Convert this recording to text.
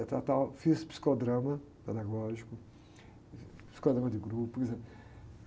Eu tratava, fiz psicodrama pedagógico, psicodrama de grupo, por exemplo.